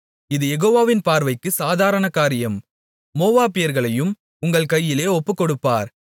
இது யெகோவாவின் பார்வைக்கு சாதாரணகாரியம் மோவாபியர்களையும் உங்கள் கையிலே ஒப்புக்கொடுப்பார்